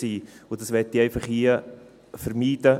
Das möchte ich hier einfach vermeiden.